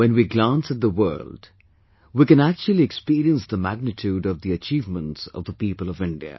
When we glance at the world, we can actually experience the magnitude of the achievements of the people of India